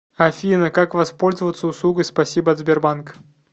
афина как воспользоваться услугой спасибо от сбербанка